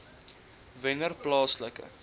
wennerplaaslike